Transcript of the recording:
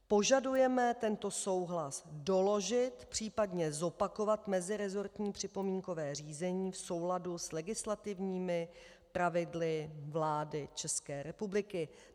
Požadujeme tento souhlas doložit, případně zopakovat meziresortní připomínkové řízení v souladu s legislativními pravidly vlády České republiky.